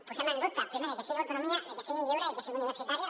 posem en dubte primer que sigui autonomia que sigui lliure i que sigui universitària